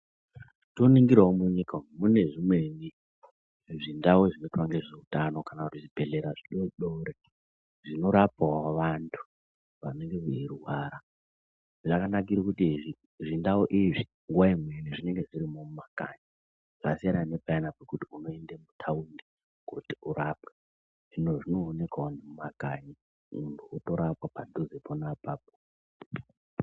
Toningirawo munyika umu mune zvimweni zvindau zvinoita ngezveutano kana kuti zvibhedhlera zvidodori zvinorapawo vanthu vanenge veirwara, zvakanakire kuti zvindau izvi nguwa imweni zvinenge zvirimo mumakanyi zvasiyana nepayana pekuti unoende kuthaundi kooti urapwe, zvinoonekawo nemumakanyi munthu otorapwa padhuze pona apapo.